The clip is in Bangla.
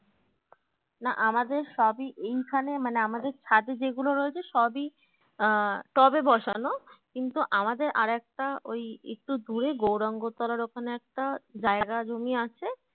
না আমাদের সবই এইখানে মানে আমাদের ছাদে যেগুলো রয়েছে সবই আহ টবে বসানো কিন্তু আমাদের আরেকটা ওই একটু দূরে গৌরাঙ্গ তলার ওখানে একটা জায়গা জমি আছে